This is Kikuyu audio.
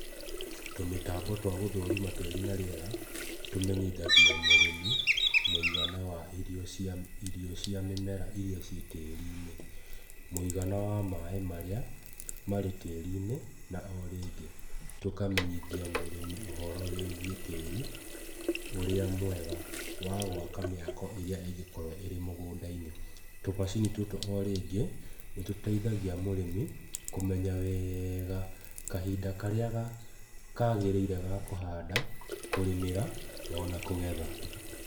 Tũmĩtambo twa gũthũrima tĩri na rĩera, tũmenyithagia mũrĩmi mũigana wa irio cia mĩmera iria ciĩtĩrinĩ, mũigana wa maaĩ marĩa marĩ tĩri-inĩ na orĩngĩ tũkamenyithia mũrĩmi ũhoro wĩgiĩ tĩri, ũrĩa mwega wa gũaka mĩako ĩrĩa ĩngĩkorwo ĩmũgũnda-inĩ. Tũmacini tũtũ orĩngĩ nĩ tũteithagia mũrĩmi kũmenya weega kahinda karĩa kagĩrĩire ga kũhanda, kũrĩmĩra, ona kũgetha.